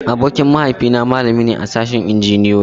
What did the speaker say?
Abokin mahaifi na malami ne a sashen Injiniyoyi.